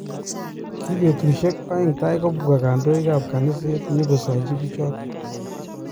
Kibetusuiek 2 tai kobwa kandoik ab kaniset nyigosachi pichotok.